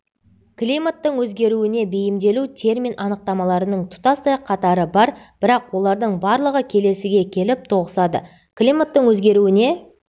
климаттың өзгеруіне бейімделу термин анықтамаларының тұтастай қатары бар бірақ олардың барлығы келесіге келіп тоғысады климаттың өзгеруіне